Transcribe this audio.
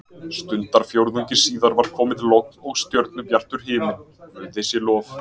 Stundarfjórðungi síðar var komið logn og stjörnubjartur himinn, guði sé lof.